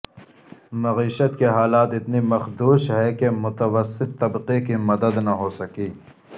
معیشت کے حالات اتنی مخدوش ہیں کہ متوسط طبقے کے مدد نہ ہو سکی